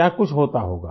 क्या कुछ होता होगा